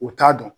U t'a dɔn